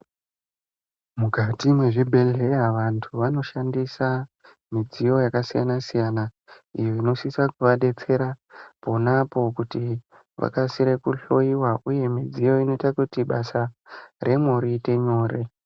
Mukati mwezvibhehleya vantu vanoshandisa midziyo yakasiyanasiyana iyo inosisa kuvadetsera ponapo kuti vakasire kuhloyiwa uye midziyo inoita kuti basa remwo riite nyore.